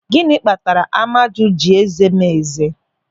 Gịnị kpatara Amaju ji eze m eze?